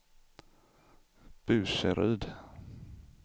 Burseryd